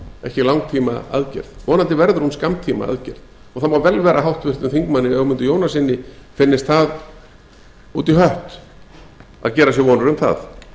ekki langtíma aðgerð vonandi verður hún skammtíma aðgerð það má vel vera að háttvirtum þingmanni ögmundi jónassyni finnist það út í hött að gera sér vonir um það